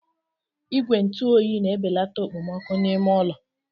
Igwe ntụ oyi na-ebelata okpomọkụ n'ime ụlọ.